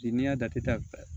Bi n'i y'a datɛ